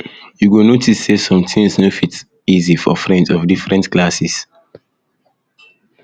you go notice say some things no fit easy for friends of different classes